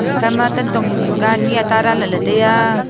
ekha ma tantong hing hing ka anyi ata dan lele tai a.